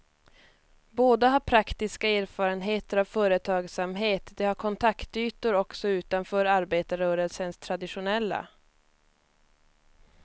Båda har praktiska erfarenheter av företagsamhet, de har kontaktytor också utanför arbetarrörelsens traditionella.